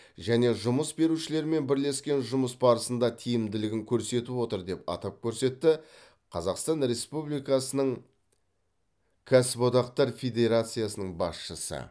және жұмыс берушілермен бірлескен жұмыс барысында тиімділігін көрсетіп отыр деп атап көрсетті қазақстан республикасының кәсіподақтар федерациясының басшысы